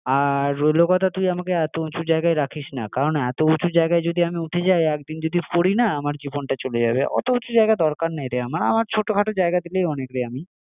আর রইলো কথা তুই আমাকে এতো উঁচু জায়গাতে রাখিস না কারণ এতো উঁচু জায়গায় যদি আমি উঠে যাই, আর একদিন যদি আমি পড়ি না আমার জীবনটা চলে যাবে অতো উঁচু জায়গার দরকার নেই রে আমার আমার ছোটোখাটো জায়গা দিলেই অনেক রে আমি